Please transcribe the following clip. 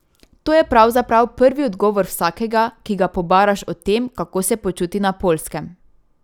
To je pravzaprav prvi odgovor vsakega, ki ga pobaraš o tem, kako se počuti na Poljskem.